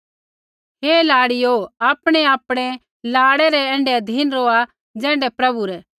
हे लाड़िओ आपणैआपणै लाड़ै रै ऐण्ढै अधीन रौहा ज़ैण्ढै प्रभु रै